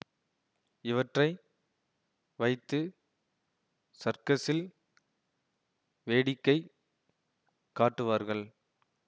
இவற்றை வைத்து சர்க்கசில் வேடிக்கைக் காட்டுவார்கள்